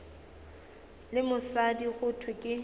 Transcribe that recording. le mosadi go thwe ke